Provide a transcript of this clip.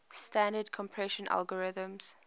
standard compression algorithms